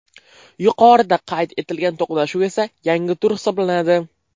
Yuqorida qayd etilgan to‘qnashuv esa yangi tur hisoblanadi.